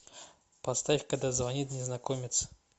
поставь когда звонит незнакомец